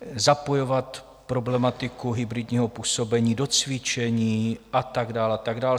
Zapojovat problematiku hybridního působení do cvičení a tak dál a tak dál.